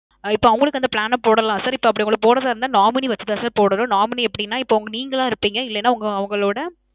இப்போ அவங்களுக்கு அந்த plan அ போடலாம் sir. இப்போ அப்பிடி உங்களுக்கு போடுறதா இருந்த nominee வச்சு தான் sir போடணும். nominee எப்பிடின்னா இப்போ நீங்கலா இருப்பீங்க இல்லனா நீங்க அவங்களோட